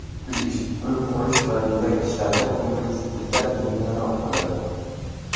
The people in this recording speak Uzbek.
Uy qurish va bezak ishlarida ko‘ngilsizliklar yengilroq bo‘ladi.